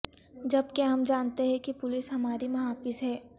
جبکہ ہم جانتے ہیں کہ پولس ہماری محافظ ہے